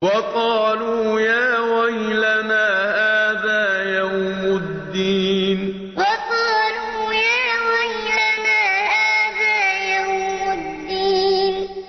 وَقَالُوا يَا وَيْلَنَا هَٰذَا يَوْمُ الدِّينِ وَقَالُوا يَا وَيْلَنَا هَٰذَا يَوْمُ الدِّينِ